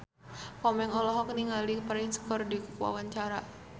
Komeng olohok ningali Prince keur diwawancara